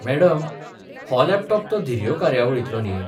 Madam, हो laptop ते धिरयो कार्यावळींतलो न्ही?